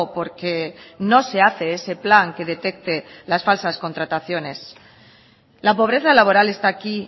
porque no se hace ese plan que detecte las falsas contrataciones la pobreza laboral está aquí